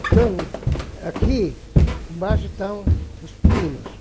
Então, aqui embaixo estão os pinos.